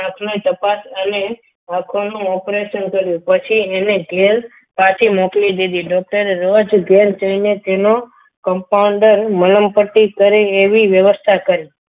આંખની તપાસ અને આંખોનું operation કર્યું પછી એને ઘેર પાછી મોકલી દીધી doctor એ રોજ ઘેર જઈને એનો compounder મલમ પટ્ટી કરે એવી વ્યવસ્થા કરી.